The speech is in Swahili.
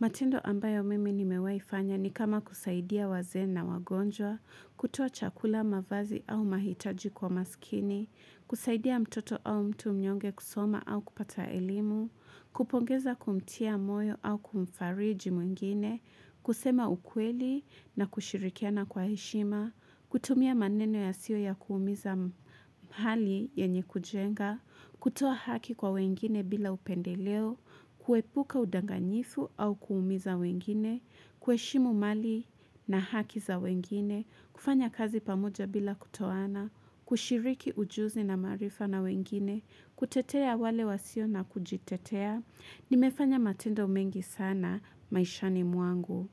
Matendo ambayo mimi nimewai fanya ni kama kusaidia waze na wagonjwa, kutua chakula mavazi au mahitaji kwa maskini, kusaidia mtoto au mtu mnyonge kusoma au kupata elimu, Kupongeza kumtia moyo au kumfariji mwingine, kusema ukweli na kushirikiana kwa heshima, kutumia maneno yasiyo ya kuumiza pahali yenye kujenga, kutoa haki kwa wengine bila upendeleo, kuepuka udanganyifu au kuumiza wengine, kuheshimu mali na haki za wengine, kufanya kazi pamoja bila kutoana, kushiriki ujuzi na maarifa na wengine, kutetea wale wasio na kujitetea, nimefanya matendo mengi sana, maisha ni mwangu.